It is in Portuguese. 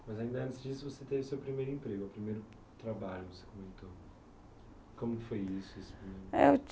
Mas, antes disso, você teve o seu primeiro emprego, o primeiro trabalho que você comentou. Como que foi isso assim? Eu